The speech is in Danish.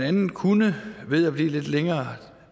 andet kunne ved at blive lidt længere